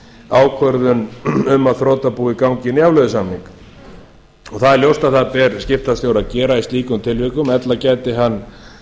ákvörðun um að þrotabúið gangi inn í afleiðusamning það er ljóst að það ber skiptastjóra að gera í slíkum tilvikum ella gæti hann